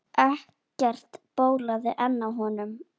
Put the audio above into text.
Ekkert bólaði enn á honum.